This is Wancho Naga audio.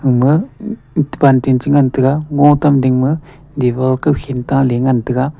emma bantin che ngan taega ngo tam ding ma dear ta hing ta ley ngan taega.